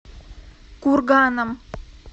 курганом